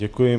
Děkuji.